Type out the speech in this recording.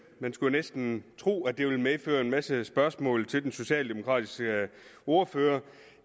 man skulle næsten tro at det ville medføre en masse spørgsmål til den socialdemokratiske ordfører